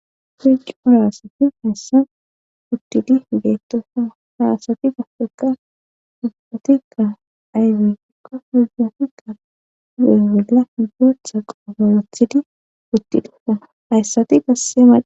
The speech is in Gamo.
Bejcu harasati hayssa puttidi beettosa harasati gafeka dugumotikka ayfey ikko hugati ka ewolla ibotha qoofowothidi uttidupa hayssati gassemad